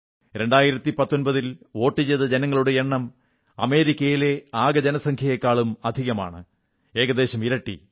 2019 ൽ വോട്ടു ചെയ്ത ജനങ്ങളുടെ എണ്ണം അമേരിക്കയിലെ ആകെ ജനസംഖ്യയെക്കാളും അധികമാണ് ഏകദേശം ഇരട്ടി